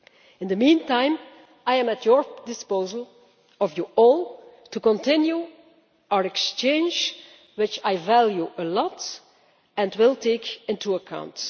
In the meantime, I am at your disposal of you all to continue our exchange, which I value a lot and will take into account.